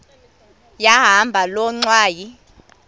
yahamba loo ngxwayi